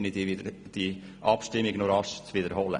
Ich bitte Sie daher, die Abstimmung zu wiederholen.